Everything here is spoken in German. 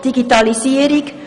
Digitalisierung;